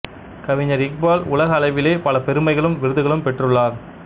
கவிஞர் இக்பால் உலக அளவிலே பல பெருமைகளும் விருதுகளும் பெற்றுள்ளார்